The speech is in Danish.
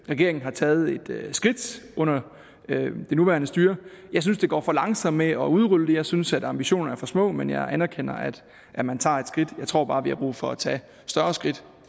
regeringen har taget et skridt under det nuværende styre men jeg synes det går for langsomt med at udrulle det jeg synes at ambitionerne er for små men jeg anerkender at man tager et skridt jeg tror bare vi har brug for at tage større skridt